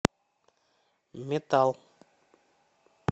метал